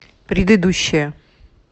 предыдущая